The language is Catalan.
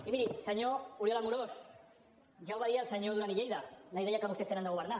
i miri senyor oriol amorós ja la va dir el senyor duran i lleida la idea que vostès tenen de governar